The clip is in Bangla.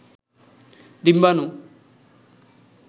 ডিম্বানু